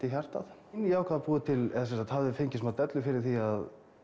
í hjartað ég ákvað að búa til eða sem sagt hafði fengið smá dellu fyrir því að